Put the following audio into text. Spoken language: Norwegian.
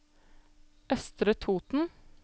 Østre Toten